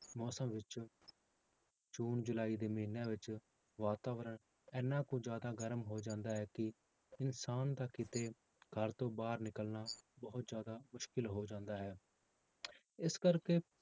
ਮੌਸਮ ਵਿੱਚ ਜੂਨ ਜੁਲਾਈ ਦੇ ਮਹੀਨਿਆਂ ਵਿੱਚ ਵਾਤਾਵਰਨ ਇੰਨਾ ਕੁ ਜ਼ਿਆਦਾ ਗਰਮ ਹੋ ਜਾਂਦਾ ਹੈ ਕਿ ਇਨਸਾਨ ਦਾ ਕਿਤੇ ਘਰ ਤੋਂ ਬਾਹਰ ਨਿਕਲਣਾ ਬਹੁਤ ਜ਼ਿਆਦਾ ਮੁਸ਼ਕਿਲ ਹੋ ਜਾਂਦਾ ਹੈ ਇਸ ਕਰਕੇ